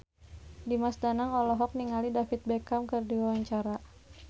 Dimas Danang olohok ningali David Beckham keur diwawancara